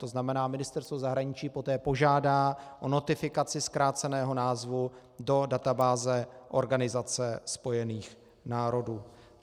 To znamená, Ministerstvo zahraničí poté požádá o notifikaci zkráceného názvu do databáze Organizace spojených národů.